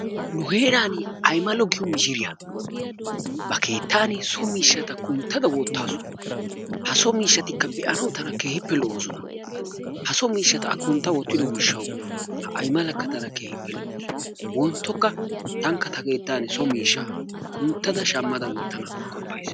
Nu heeran Aymalo giyo mishshiriya ba keettan so miishshaata kunttada wottaasu ha so miishshaatikka be'anawu tana keehippe lo'oosona ha so a kuntta wottiddo gishshawu ha aymalakka tana keehippe loawusu. Wonttokka tankka ta keettan so miishsha kunttada wottanaw qopays.